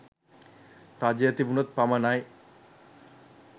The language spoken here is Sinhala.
රජය තිබුණොත් පමණයි.